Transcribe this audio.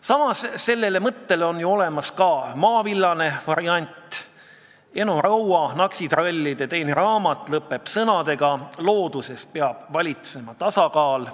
Samas on ka olemas selle põhimõtte maavillane variant: Eno Raua "Naksitrallide" teine raamat lõpeb sõnadega: "Looduses peab valitsema tasakaal.